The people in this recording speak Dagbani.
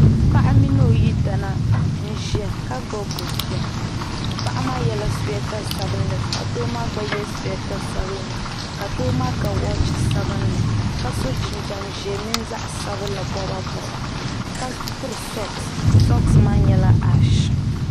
Paɣa mini ɔyidana n ʒiya ka gbubi bɛ biya, paɣi maa. yela sweeta sabinli ka doo maa gba ye sweeeta sabinli ka doo maa ga wɔch sabinli ka so jin jam ʒɛɛ mini zaɣi sabinli boba boba, ka piri sɔxs sɔxs maa nyɛla ash,